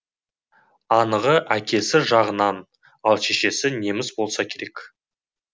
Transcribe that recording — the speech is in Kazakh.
анығы әкесі жағынан ал шешесі неміс болса керек